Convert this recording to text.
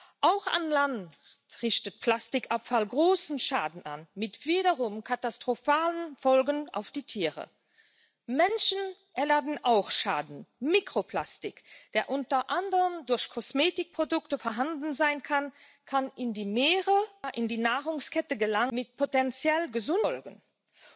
ist natürlich ein großes Problem Mikroplastik, das in der Umwelt landet, zum Beispiel durch Autoreifen oder Abrieb von Waschmaschinen. Wir werden über kurz oder lang, wenn wir den Verbrauch nicht reduzieren, auf Filtertechniken zurückgreifen müssen, und ich möchte nicht, dass allein die Verbraucherinnen und Verbraucher die Kosten dafür tragen.